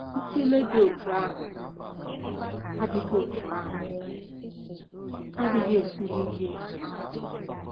Ntụle dị otú ahụ adịghị otú ahụ adịghị esiri ike ịhazi.